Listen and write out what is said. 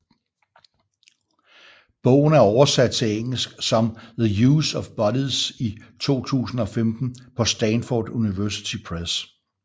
Bogen er oversat til engelsk som The Use of Bodies i 2015 på Stanford University Press